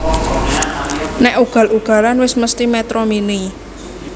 Nek ugal ugalan wes mesthi Metro Mini